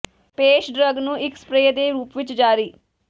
ਪੇਸ਼ ਡਰੱਗ ਨੂੰ ਇੱਕ ਸਪਰੇਅ ਦੇ ਰੂਪ ਵਿੱਚ ਜਾਰੀ